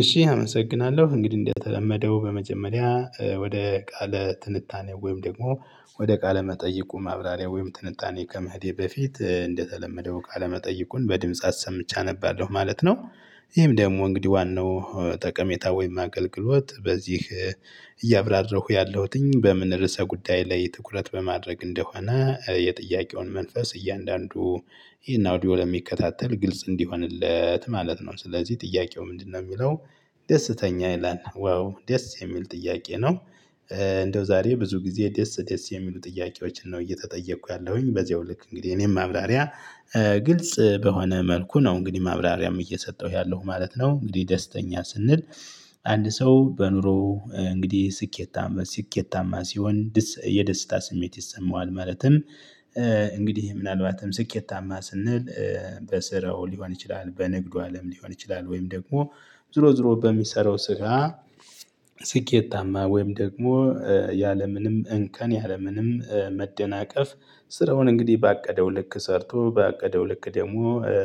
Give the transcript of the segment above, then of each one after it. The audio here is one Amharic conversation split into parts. እሺ አመሰግናለሁ እንግዲህ እንአመሰግናለሁ። በመጀመሪያ ወደ ቃለ ትንታኔ ወይም ደግሞ ወደ ቃለ መጠይቁ ማብራሪያ ወይም ትንታኔ ከመሄዴ በፊት እንደተለመደው ቃለ መጠይቁን በድምጽ አሰምቻ እነባለሁ ማለት ነው። ይሄም ደግሞ እንግዲህ ዋናው ጠቀሜታ ወይም አገልግሎት በዚህ እያብራራሁ ያለሁትኝ በምን ርዕሰ ጉዳይ ላይ ትኩረት በማድረግ እንደሆነ የጥያቄውን መንፈስ እያንዳንዱ ይሄን አውዲዮ ለሚከታተል ግልጽ እንዲሆንለት ማለት ነው ስለዚህ ጥያቄው ምንድነው የሚለው ደስተኛ ይላል ወይ ደስ የሚል ጥያቄ ነው እንደው ዛሬ ብዙ ጊዜ ደስ ደስ የሚሉ ጥያቄዎችን ነው እየተጠየቁ ያለሁኝ በዚሁ ልክ እንግዲህ እኔም ማብራሪያ ግልጽ በሆነ መልኩ ነው እንግዲህ ማብራሪያም እየሰጠሁ ያለሁ ማለት ነው እንግዲህ ደስተኛ ስንል አንድ ሰው በኑሮ እንግዲህ ስኬታማ ስኬታማ ሲሆን የደስታ ስሜት ይሰማዋ። ማለትም እንግዲህ ምናልባትም ስኬታማ ስንል በስራው ሊሆን ይችላል በንግዱ አለም ሊሆን ይችላል ወይም ደግሞ ዝሮ ዝሮ በሚሰራው ስራ ስኬታማ ወይም ደግሞ ያለምንም እንከን ያለምንም መደናቀፍ ስራውን እንግዲህ ባቀደው ልክ ሰርቶ ባቀደው ልክ ደግሞ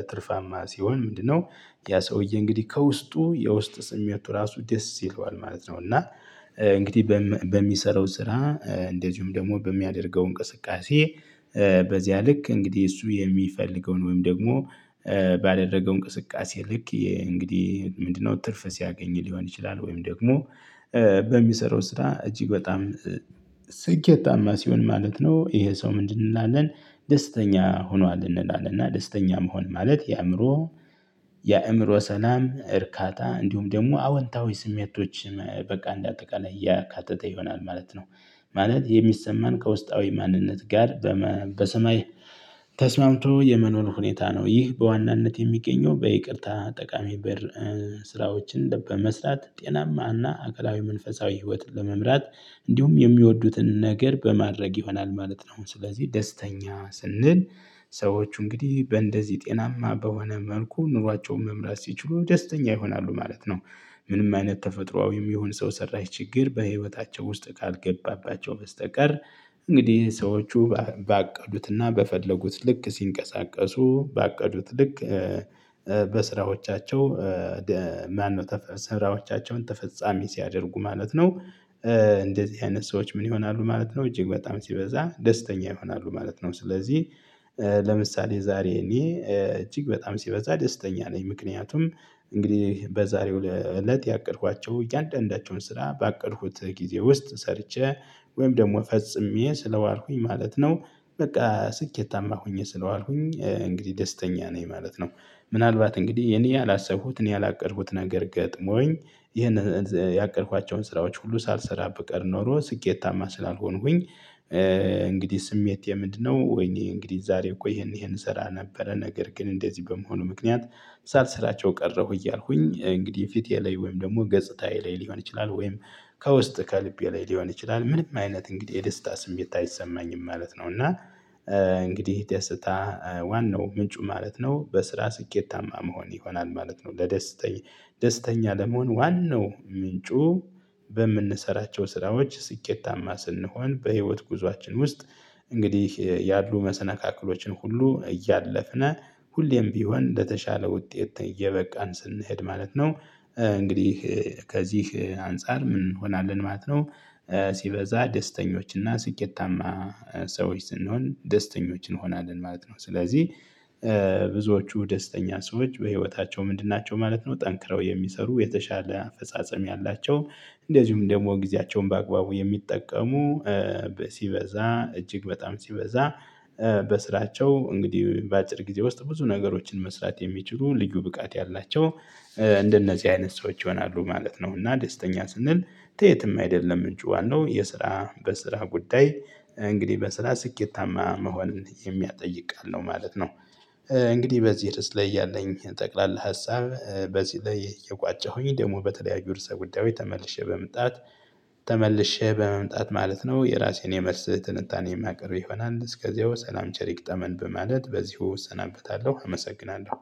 ትርፋማ ሲሆን ምንድነው ያ ሰውዬ እንግዲህ ከውስጡ የውስጥ ስሜቱ ራሱ ደስ ይለዋል ማለት ነው እና እንግዲህ በሚሰራው ስራ እንደዚሁም ደግሞ በሚያደርገው እንቅስቃሴ በዚያ ልክ እንግዲህ እሱ የሚፈልገውን ወይም ደግሞ ባደረገው እንቅስቃሴ ልክ እንግዲህ ምንድነው ትርፍ ሲያገኝ ሊሆን ይችላል ወይም ደግሞ በሚሰራው ስራ እጅግ በጣም ስኬት ታማ ሲሆን ማለት ነው ይሄ ሰው ምንድን እንላለን ደስተኛ ሆኗል እንላለን እና ደስተኛ መሆን ማለት የአእምሮ የአእምሮ ሰላም እርካታ እንዲሁም ደግሞ አወንታዊ ስሜቶች በቃ እንደ አጠቃላይ ያካትተው ይሆናል ማለት ነው። ማለት የሚሰማን ከውስጣዊ ማንነት ጋር በሰማይ ተስማምቶ የመኖር ሁኔታ ነው። ይህ በዋናነት የሚገኘው በይቅርታ ጠቃሚ በር ስራዎችን በመስራት ጤናማና አካላዊ መንፈሳዊ ህይወትን ለመምራት እንዲሁም የሚወዱትን ነገር በማድረግ ይሆናል ማለት ነው ስለዚህ ደስተኛ ስንል ሰዎቹ እንግዲህ በእንደዚህ ጤናማ በሆነ መልኩ ኑሯቸውን መምራት ሲችሉ ደስተኛ ይሆናሉ ማለት ነው ምንም አይነት ተፈጥሮአዊ የሚሆን ሰው ሰራሽ ችግር በህይወታቸው ውስጥ ካልገባባቸው በስተቀር እንግዲህ ሰዎቹ ባቀዱትና በፈለጉት ልክ ሲንቀሳቀሱ ባቀዱት ልክ በስራዎቻቸው ማነው ተፈሳ ስራዎቻቸውን ተፈጻሚ ሲያደርጉ ማለት ነው እንደዚህ አይነት ሰዎች ምን ይሆናሉ ማለት ነው እጅግ በጣም ሲበዛ ደስተኛ ይሆናሉ ማለት ነው ስለዚህ ለምሳሌ ዛሬ እኔ እጅግ በጣም ሲበዛ ደስተኛ ነኝ። ምክንያቱም እንግዲህ በዛሬው እለት ያቀድኳቸው እያንዳንዳቸውን ስራ ባቀድኩት ጊዜ ውስጥ ሰርቼ ወይም ደግሞ ፈጽሜ ስለዋልኩኝ ማለት ነው በቃ ስኬታማ ሆኜ ስለዋልኩኝ እንግዲህ ደስተኛ ነኝ ማለት ነው። ምናልባት እንግዲህ የኔ ያላሰቡት እኔ ያላቀረቡት ነገር ገጥሞኝ ይሄን ያቀድኳቸውን ስራዎች ሁሉ ሳልሰራ ብቀር ኖሮ ስኬታማ ስላልሆንሁኝ እንግዲህ ስሜቴ ምንድነው ወይኔ እንግዲህ ዛሬ እኮ ይሄን ይሄን እሰራ ነበረ ነገር ግን እንደዚህ በመሆኑ ምክንያት ለምሳሌ ስላቸው ቀረሁ እያልኩኝ እንግዲህ ፊቴ ላይ ወይም ደግሞ ገጽታዬ ላይ ሊሆን ይችላል ወይም ከውስጥ ከልቤ ላይ ሊሆን ይችላል ምንም አይነት እንግዲህ የደስታ ስሜት አይሰማኝም ማለት ነው። እና እንግዲህ ደስታ ዋናው ምንጩ ማለት ነው በስራ ስኬታማ መሆን ይሆናል ማለት ነው ለደስተኛ ደስተኛ ለመሆን ዋናው ምንጩ በምንሰራቸው ስራዎች ስኬታማ ስንሆን በህይወት ጉዞአችን ውስጥ እንግዲህ ያሉ መሰነካክሎችን ሁሉ እያለፍነ ሁሌም ቢሆን እንደተሻለ ውጤት እየበቃን ስንሄድ ማለት ነው እንግዲህ ከዚህ አንፃር ምን እንሆናለን ማለት ነው። ሲበዛ ደስተኞች እና ስኬታማ ሰዎች ስንሆን ደስተኞችን እንሆናለን ማለት ነው። ስለዚህ ብዙዎቹ ደስተኛ ሰዎች በህይወታቸው ምንድን ናቸው ማለት ነው ጠንክረው የሚሰሩ የተሻለ አፈጻጸም ያላቸው እንደዚሁም ደግሞ ጊዜያቸውን በአግባቡ የሚጠቀሙ ሲበዛ እጅግ በጣም ሲበዛ በስራቸው እንግዲህ በአጭር ጊዜ ውስጥ ብዙ ነገሮችን መስራት የሚችሉ ልዩ ብቃት ያላቸው እንደነዚህ አይነት ሰዎች ይሆናሉ ማለት ነው እና ደስተኛ ስንል የትም አይደለም ምንጩ ዋናው የስራ በስራ ጉዳይ እንግዲህ በስራ ስኬታማ መሆንን የሚያጠይቅ ቃል ነው ማለት እንግዲህ በዚህ ርዕስ ላይ ያለኝ ጠቅላላ ሀሳብ በዚህ ላይ የቋጨሁኝ ደግሞ በተለያዩ ርዕሰ ጉዳዮች ተመልሼ በመምጣት ተመልሼ በመምጣት ማለት ነው የራሴን የመልስ ትንታኔ የማቀርብ ይሆናል እስከዚያው ሰላም ቸር ይገጠመን በማለት በዚህ እሰናበተለሁ አመሰግናለሁ።